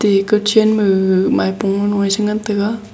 ega chen ma gaga maipo nu e che ngan tega.